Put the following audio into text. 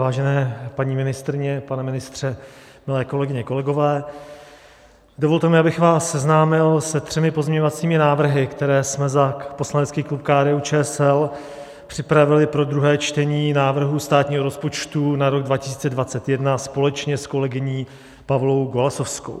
Vážené paní ministryně, pane ministře, milé kolegyně, kolegové, dovolte mi, abych vás seznámil se třemi pozměňovacími návrhy, které jsme za poslanecký klub KDU-ČSL připravili pro druhé čtení návrhu státního rozpočtu na rok 2021 společně s kolegyní Pavlou Golasowskou.